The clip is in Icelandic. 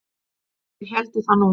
Þeir héldu það nú.